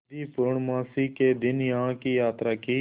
यदि पूर्णमासी के दिन यहाँ की यात्रा की